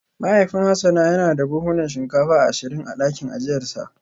Mahaifin Hassan yana da buhunan shinkafa ashirin a dakin ajiyarsa